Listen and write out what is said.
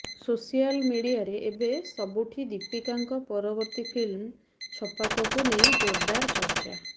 social ମିଡିଆରେ ଏବେ ସୁବୁଠି ଦୀପିକାଙ୍କ ପରବର୍ତ୍ତି ଫିଲ୍ମ ଛପାକକୁ ନେଇ ଜୋରଦାର୍ ଚର୍ଚ୍ଚା